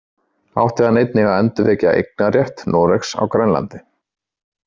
Átti hann einnig að endurvekja eignarrétt Noregs á Grænlandi.